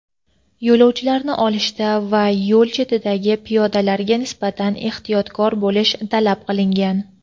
yo‘lovchilarni olishda va yo‘l chetidagi piyodalarga nisbatan ehtiyotkor bo‘lish talab qilingan.